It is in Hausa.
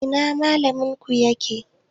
Ina Mallaminku yake?